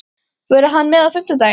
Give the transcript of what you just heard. Verður hann með á fimmtudag?